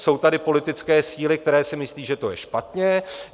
Jsou tady politické síly, které si myslí, že to je špatně.